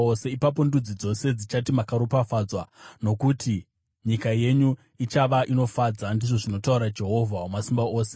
“Ipapo ndudzi dzose dzichati makaropafadzwa, nokuti nyika yenyu ichava inofadza,” ndizvo zvinotaura Jehovha Wamasimba Ose.